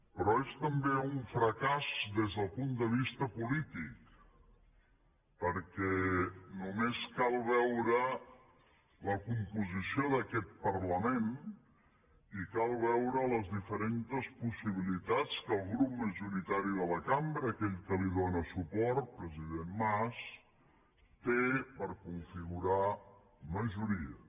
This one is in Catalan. però és també un fracàs des del punt de vista polític perquè només cal veure la composició d’aquest parlament i cal veure les diferents possibilitats que el grup majoritari de la cambra aquell que li dóna suport president mas té per configurar majories